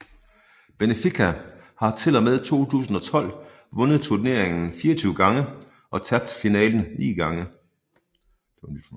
Benfica har til og med 2012 vundet turneringen 24 gange og tabt finalen 9 gange